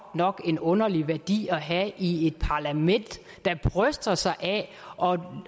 nok en underlig værdi at have i et parlament der bryster sig af